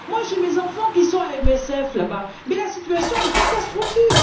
J'ai mes enfants qui sont à MSF là bas et la situation est catastrophique.